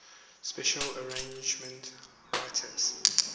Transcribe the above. special arrangements written